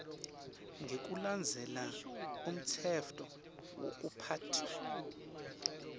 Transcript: ngekulandzela umtsetfo wekuphatfwa